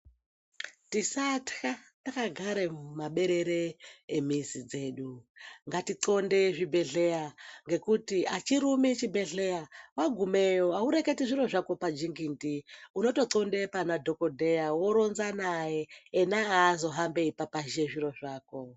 Tisatya takagare mumaberere emizi dzedu. ngatinxonde zvibhehleya ngekuti achirumi chibhehleya, wagumeyo haureketi zviro zvako majingindi, unotonxonde pana dhokodheya woronza naye, ena azohambi eipapashe zviro zvako.